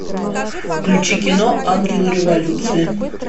включи кино ангелы революции